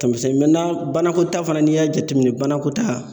banako ta fana n'i y'a jateminɛ banako ta